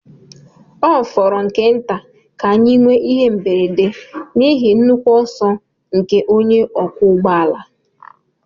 Ọ fọrọ nke nta ka anyị nwee ihe mberede n'ihi nnukwu ọsọ nke onye ọkwọ ụgbọ ala.